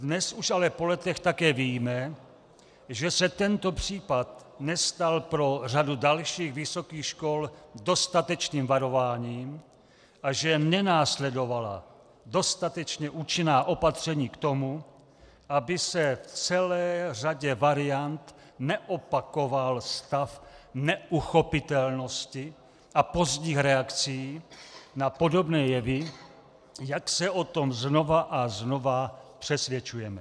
Dnes už ale po letech také víme, že se tento případ nestal pro řadu dalších vysokých škol dostatečným varováním a že nenásledovala dostatečně účinná opatření k tomu, aby se v celé řadě variant neopakoval stav neuchopitelnosti a pozdních reakcí na podobné jevy, jak se o tom znova a znova přesvědčujeme.